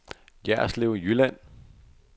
Jerslev Jylland